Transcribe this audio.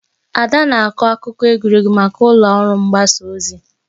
Ada na-akọ akụkọ egwuregwu maka ụlọ ọrụ mgbasa ozi.